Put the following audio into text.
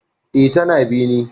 E, tana bene.